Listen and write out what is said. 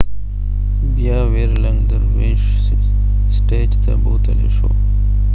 بیا ويرلنګ درویشس سټیج ته بوتلي شو